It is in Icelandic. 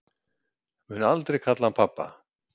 Mun aldrei kalla hann pabba